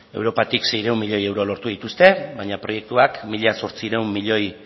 europatik seiehun milioi euro lortu dituzte baina proiektuak mila zortziehun milioi